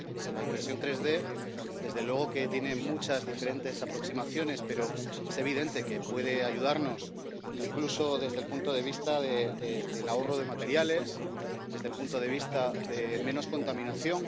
La impresión 3D desde luego que tiene muchas diferentes aproximaciones, pero es evidente que puede ayudarnos, incluso desde el punto de vista del ahorro de materiales, desde el punto de vista de una menor contaminación.